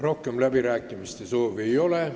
Rohkem läbirääkimiste soovi ei ole.